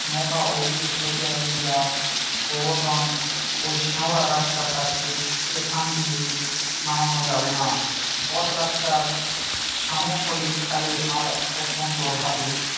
নৌকা ওদিকে সরিয়ে নিয়ে যা গোবরধন ওই শেওড়া গাছটার কাছে এখান দিয়ে নামানো যাবে না বটগাছটার শামুকশলিল খালের পার অত্যন্ত ঢালু